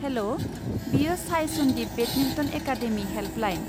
हेल'! बेयो साय Sandip badminton academy helpline.